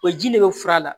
O ji de bɛ fura la